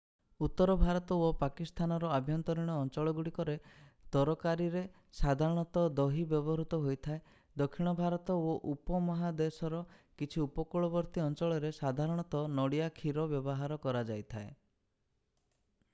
ଉତ୍ତର ଭାରତ ଓ ପାକିସ୍ଥାନର ଆଭ୍ୟନ୍ତରୀଣ ଅଞ୍ଚଳଗୁଡ଼ିକରେ ତରକାରୀରେ ସାଧାରଣତଃ ଦହି ବ୍ୟବହୃତ ହୋଇଥାଏ ଦକ୍ଷିଣ ଭାରତ ଓ ଉପମହାଦେଶର କିଛି ଉପକୂଳବର୍ତ୍ତୀ ଅଞ୍ଚଳରେ ସାଧାରଣତଃ ନଡ଼ିଆ କ୍ଷୀର ବ୍ୟବହାର କରାଯାଇଥାଏ